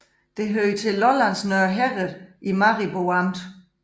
Det hørte til Lollands Nørre Herred i Maribo Amt